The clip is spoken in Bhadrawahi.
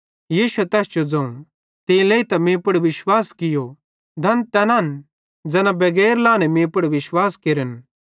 यीशुए तैस जो ज़ोवं तीं लेइतां तीं मीं पुड़ विश्वास कियो धन तैना ज़ैना बगैर लाहने मीं पुड़ विश्वास केरन